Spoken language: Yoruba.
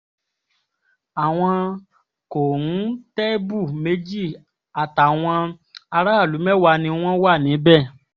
àwọn kòńtẹ́bù méjì àtàwọn aráàlú mẹ́wàá ni wọ́n wà níbẹ̀